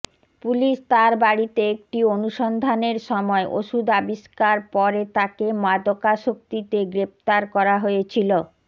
police তার বাড়িতে একটি অনুসন্ধানের সময় ওষুধ আবিষ্কার পরে তাকে মাদকাসক্তিতে গ্রেফতার করা হয়েছিল